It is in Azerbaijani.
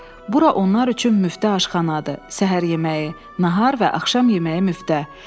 Bura onlar üçün müftə aşxanadır: səhər yeməyi, nahar və axşam yeməyi müftə.